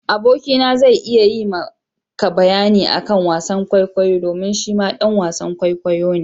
Aboki na zai iya yi ma ka bayani akan wasan kwaikwayo domin shi ma ɗan wasan kwaikwayo ne.